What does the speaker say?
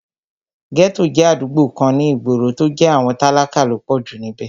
Ghetto jẹ́ àdúgbò kan ní ìgboro, tó jẹ́ àwọn tálákà ló pọ̀jù níbẹ̀